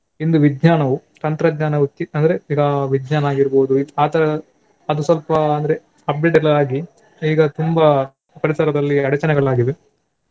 ಇಂದು ವಿಜ್ಞಾನವು ತಂತ್ರಜ್ಞಾನವೊತ್ತಿ ಅಂದ್ರೆ ಈಗ ವಿಜ್ಞಾನ ಆಗಿರ್ಬೋದು ಆ ತರ ಅದು ಸ್ವಲ್ಪ ಅಂದ್ರೆ update ಎಲ್ಲ ಆಗಿ ಈಗ ತುಂಬಾ ಪರಿಸರದಲ್ಲಿ ಅಡಚನೆಗಳಾಗಿವೆ.